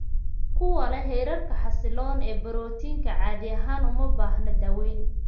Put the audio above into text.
Kuwa leh heerarka xasilloon ee borotiinka monoclonal caadi ahaan uma baahna daaweyn.